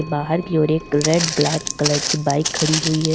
बाहर की ओर एक रेड ब्लैक कलर की बाइक खड़ी हुई है।